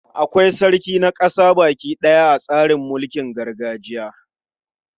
Akwai sarki na ƙasa baki ɗaya a tsarin mulkin gargajiya.